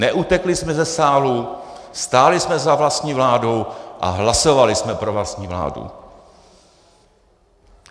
Neutekli jsme ze sálu, stáli jsme za vlastní vládou a hlasovali jsme pro vlastní vládu.